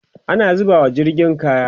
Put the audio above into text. ana zubawa jirgin kaya